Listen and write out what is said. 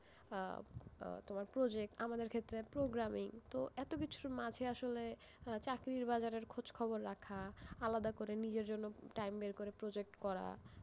আহ আহ তোমার project, আমাদের ক্ষেত্রে programming, তো এত কিছুর মাঝে আসলে আহ চাকরির বাজারের খোঁজ খবর রাখা, আলাদা করে নিজের জন্য time বের করে project করা,